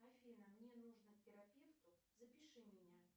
афина мне нужно к терапевту запиши меня